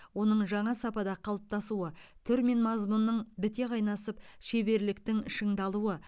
оның жаңа сапада қалыптасуы түр мен мазмұнның біте қайнасып шеберліктің шыңдалуы